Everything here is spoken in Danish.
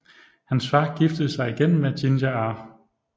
Hans far giftede sig igen med Ginger R